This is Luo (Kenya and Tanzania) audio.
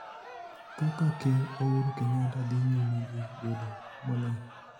Kaka Ker Ouru Kenyatta dhi nyime gi bedo moling'